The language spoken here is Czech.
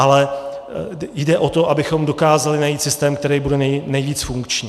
Ale jde o to, abychom dokázali najít systém, který bude nejvíc funkční.